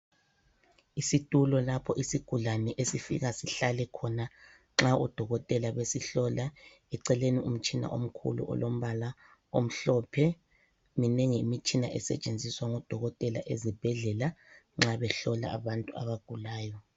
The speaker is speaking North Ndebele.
Isitulo lapho isigulane esifika sihlale khona nxa odokotela besihlola eceleni umtshina omkhulu ulombala omhlophe. Minengi imitshina esetshenziswa ngodokotela ezibhedlela nxa behlola abantu abagulayo.